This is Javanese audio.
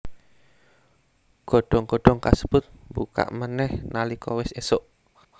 Godhong godhong kasebut mbuka manèh nalika wis ésuk